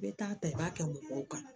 I bɛ taa ta i b'a kɛ mɔgɔw kan